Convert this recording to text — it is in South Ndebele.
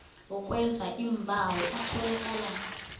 wokwenza iimbawo atholakala